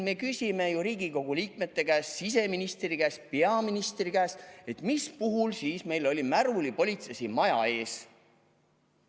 Me küsime ju Riigikogu liikmete käest, siseministri käest, peaministri käest, mis puhul on meil märulipolitsei maja ees.